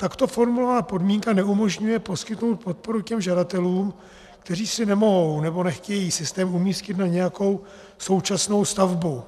Takto formulovaná podmínka neumožňuje poskytnout podporu těm žadatelům, kteří si nemohou nebo nechtějí systém umístit na nějakou současnou stavbu,